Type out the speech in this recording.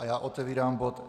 A já otevírám bod